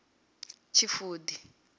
tshifudi